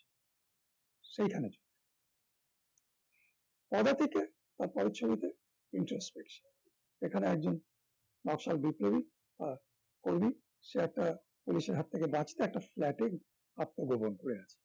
সেখানে পদাতিক তার পরের ছবিতে introspection এখানে একজন নকশাল বিপ্লবী আহ কর্মী সে একটা পুলিশের হাত থেকে বাঁচিয়ে একটা flat এ আত্ম গোপন করে আছে